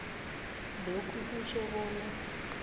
lokhu kutjho bona